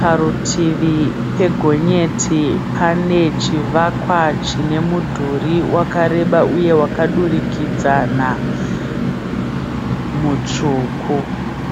Parutivi pegonyeti pane chivakwa chine mudhuri wakareba uye wakadurikidzana mutsvuku.